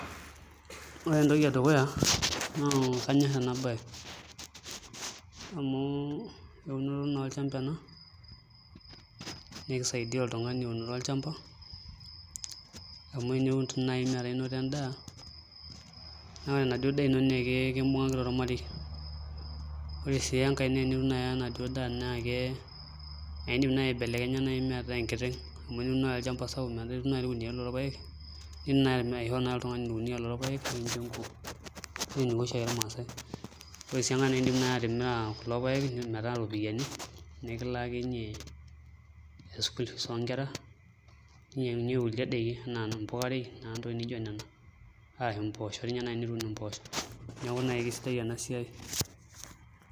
Ore entoki edukuya naa kanyorr ena baye amu eunoto naa olchamba ena naa kisaidia oltung'ani amu teniun naai metaa inoto endaa naa ore enaduo daa naa kakimbungaki toi ormarei ore sii enkae naa tenitum enaduo daa naa iindim naai aibelekenya metaa enkiteng' amu teniun naai olchamba sapuk nitum irkuniyiani kumok lorpaek, niidim naai aishoo oltung'ani orkuniyia lorpaek nikincho enkuo enaa eniko oshiake irmaasae ore sii enkae naa iidim sii atimira lelo paek metaa iropiyiani nekilaakinyie nilakie school fees oonkera ashu inyiang'unyie kulie daiki enaa mpukurei enaa ntokitin nijio nena enaa mpoosho neeku sidai ena baye.